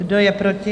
Kdo je proti?